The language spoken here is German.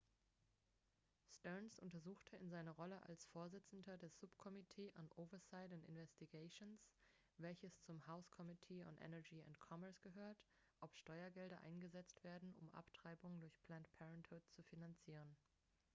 stearns untersucht in seiner rolle als vorsitzender des subcommittee on oversight and investigations welches zum house committee on energy and commerce gehört ob steuergelder eingesetzt werden um abtreibungen durch planned parenthood zu finanzieren